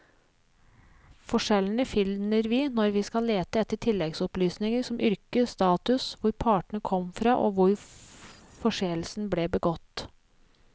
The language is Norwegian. Forskjellene finner vi når vi skal lete etter tilleggsopplysninger som yrke, status, hvor partene kom fra og hvor forseelsen ble begått.